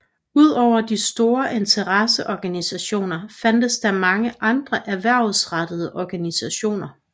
Udover de store interesseorganisationer fandtes der mange andre erhvervsrettede organisationer